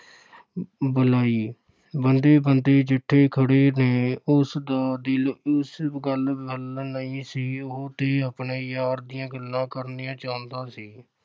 ਵਲਾਈ, ਬੰਦੇ-ਬੰਦੇ ਜਿੱਡੇ ਖੜ੍ਹੇ ਨੇ, ਉਸ ਦਾ ਦਿਲ ਇਸ ਗੱਲ ਵੱਲ ਨਹੀਂ ਸੀ ਉਹ ਤੇ ਆਪਣੇ ਯਾਰ ਦੀਆਂ ਗੱਲਾਂ ਕਰਨੀਆਂ ਚਾਹੁੰਦਾ ਸੀ।